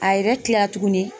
A yɛrɛ kila la tuguni